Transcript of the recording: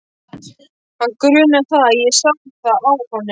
Hann grunaði það, ég sá það á honum.